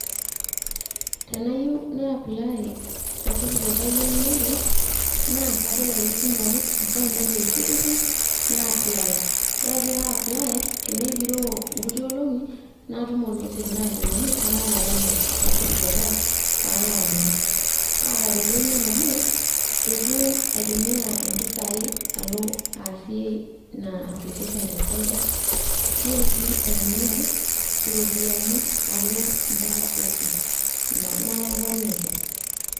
Teneyieu na apply satifiket ai einoto, na kabol ake esimu ai account ai e e-citizen, na apply. Ore ake pe a apply ,tenegiroo nkuti olong'i, natum ormesej naajokini, etaa tayari satifiket ai palo adumu. Atareto ina amu, eitu aitumia impisai alo easie ina application te cyber ,nitu si aitumia iropiyiani alo mpaka ofis nalakwaniki.